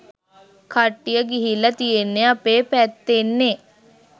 කට්ටිය ගිහිල්ල තියෙන්නෙ අපේ පැත්තෙන්නෙ